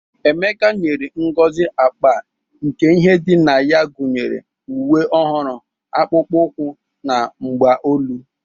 Emeka bunyere Ngozi akpa nke ihe dị na ya gunyere uwe ọhụrụ, akpụkpọ ụkwụ, na mgbaolu.